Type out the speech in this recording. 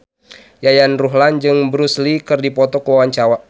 Yayan Ruhlan jeung Bruce Lee keur dipoto ku wartawan